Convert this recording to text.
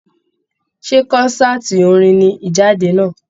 Ṣé kọ́nsàtii orin ní Ijade náà?